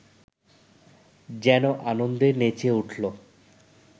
যেন আনন্দে নেচে উঠল